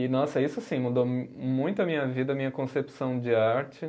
E, nossa, isso sim, mudou muito a minha vida, a minha concepção de arte